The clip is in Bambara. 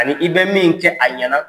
Ani i bɛ min kɛ a ɲɛna.